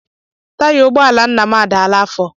Taya ụgbọala nna m adaala afọ.